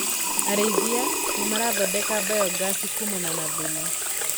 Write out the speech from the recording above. Arĩithia nĩmarathondeka biogasi kumana na thumu.